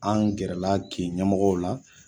An gɛrɛla kin ɲɛmɔgɔw la